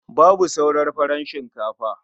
Babu sauran farar shinkafa.